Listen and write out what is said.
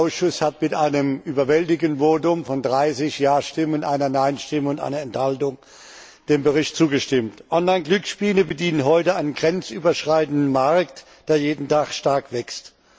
Der Ausschuss hat mit einem überwältigenden Votum von 30 Ja Stimmen, einer Nein Stimme und einer Enthaltung dem Bericht zugestimmt. Online Glücksspiele bedienen heute einen grenzüberschreitenden Markt, der jeden Tag stark wächst.